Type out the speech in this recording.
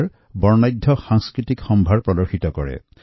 অনাম উৎসৱে কেৰালাৰ সমৃদ্ধ সাংস্কৃতিক ঐতিহ্যৰ কথা সোঁৱৰায়